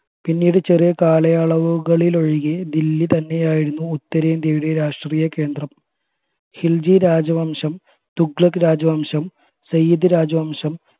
പിന്നീട് ചെറിയ കാലയളവുകളിലൊഴികെ ദില്ലി തന്നെയായിരുന്നു ഉത്തരേന്ത്യയുടെ രാഷ്ട്രീയകേന്ത്രം ഖിൽജി രാജവംശം തുഗ്ലക് രാജവംശം സയ്യിദ് രാജവംശം